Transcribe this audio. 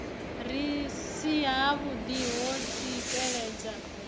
si havhuḓi ho tsikeledza vhaṋwe